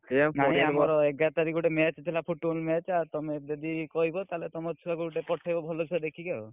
ନାଇଁ ଆମର ଏଗାର ତାରିଖ ଗୋଟେ match ଥିଲା Football match ଆଉ ତମେ ଯଦି କହିବ ତାହେଲେ ତମର ଛୁଆ କୁ ଗୋଟେ ପଠେଇବ ଭଲ ଛୁଆ କୁ ଦେଖି ଆଉ।